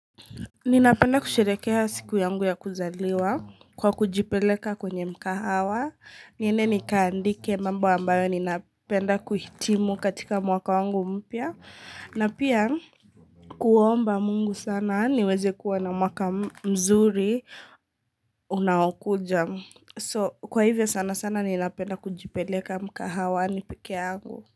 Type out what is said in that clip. Ninapenda kusherekeha siku yangu ya kuzaliwa kwa kujipeleka kwenye mkagahawa niende nikaandike mambo ambayo ninapenda kuhitimu katika mwaka wangu mpya na pia kuomba mungu sana niweze kuwa na mwaka mzuri unawakuja so kwa hivyo sana sana ninapenda kujipeleka mkahawa ni pekea angu.